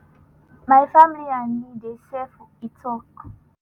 my family and me dey safe” e tok.